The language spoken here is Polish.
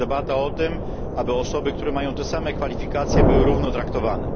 To jest debata o tym, aby osoby, które mają te same kwalifikacje, były równo traktowane.